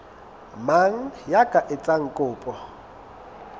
mang ya ka etsang kopo